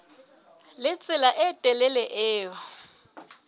le tsela e telele eo